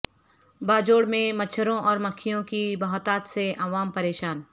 باجوڑ میں مچھروں اور مکھیوں کی بہتات سے عوام پریشان